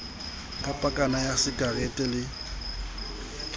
ka pakana ya sakarete le